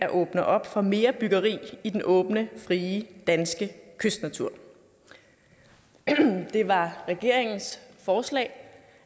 at åbne op for mere byggeri i den åbne frie danske kystnatur det var regeringens forslag